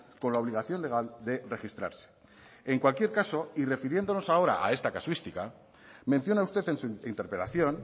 con la obligación legal de registrarse en cualquier caso y refiriéndonos ahora a esta casuística menciona usted en su interpelación